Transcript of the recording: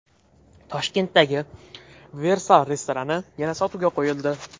Toshkentdagi Versal restorani yana sotuvga qo‘yildi.